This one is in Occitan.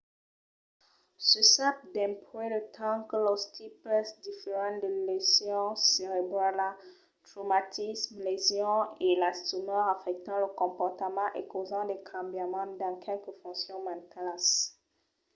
se sap dempuèi de temps que los tipes diferents de lesion cerebrala traumatismes lesions e las tumors afèctan lo comportament e causan de cambiaments dins qualques foncions mentalas